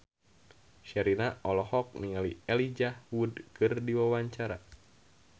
Sherina olohok ningali Elijah Wood keur diwawancara